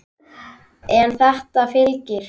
En þetta fylgir.